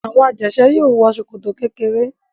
Àwọn ajẹ̀ṣẹ́ yóò wọ ṣòkòtò kékeré.